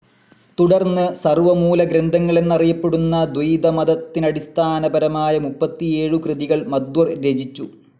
തുടർന്ന് സർവ്വമൂലഗ്രന്ഥങ്ങളെന്നറിയപ്പെടുന്ന ദ്വൈതമതത്തിന്നടിസ്ഥാനപരമായ മുപ്പത്തിയേഴു കൃതികൾ മധ്വർ രചിചു.